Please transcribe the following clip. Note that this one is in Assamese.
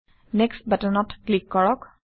নেক্সট বাটনত ক্লিক কৰক